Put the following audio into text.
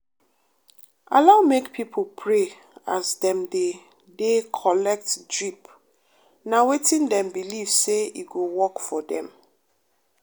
allow make pipo pray as dem dey dey collet drip na wetin dem believe say e go work for dem.